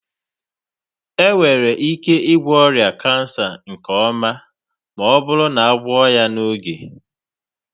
Enwere ike ịgwọ ọrịa kansa nke ọma ma ọ bụrụ na a gwọọ ya n'oge.